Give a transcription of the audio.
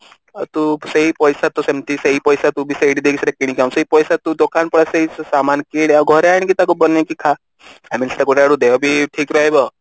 ତୁ ସେଇ ପଇସା ତୁ ସେମିତି ସେଇ ପଇସା ତୁ ବି ସେଇଠି ଦେଇ ସେଇଟା କିଣିକି ଆଣୁ ସେଇ ପଇସା ତୁ ଦୋକାନ ପଳା ସେଇ ସାମାନ କିନେ ତୁ ଘରେ ଆଣିକି ତାକୁ ବନେଇକି ଖା I mean ସେଇଟା ଗୋଟେ ଆଡୁ ଦେହ ବି ଠିକ ରହିବ